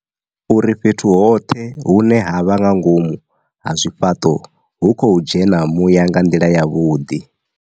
Uri fhethu hoṱhe hune ha vha nga ngomu ha zwifhaṱo hu khou dzhena muya nga nḓila yavhuḓi.